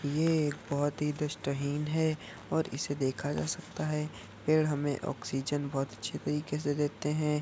ये एक बहुत ही दृष्टिहीन है और इसे देखा जा सकता है। पेड़ हमे ऑक्सीजन बहुत अच्छी तरीके से देते है।